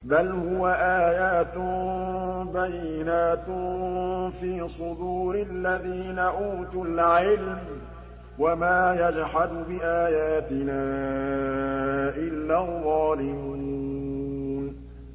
بَلْ هُوَ آيَاتٌ بَيِّنَاتٌ فِي صُدُورِ الَّذِينَ أُوتُوا الْعِلْمَ ۚ وَمَا يَجْحَدُ بِآيَاتِنَا إِلَّا الظَّالِمُونَ